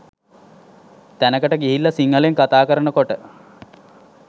තැනකට ගිහිල්ලා සිංහලෙන් කථා කරනකොට